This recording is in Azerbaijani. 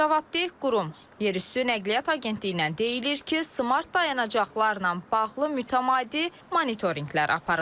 Cavabdeh qurum, yerüstü Nəqliyyat Agentliyindən deyilir ki, smart dayanacaqlarla bağlı mütəmadi monitorinqlər aparılır.